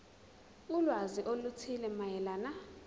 ulwazi oluthile mayelana